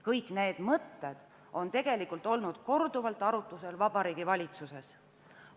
Kõik need mõtted on tegelikult olnud korduvalt arutlusel Vabariigi Valitsuses.